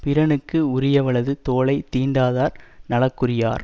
பிறனுக்கு உரியவளது தோளை தீண்டாதார் நலக்குரியார்